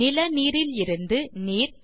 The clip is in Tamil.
நிலநீரிலிருந்து நீர்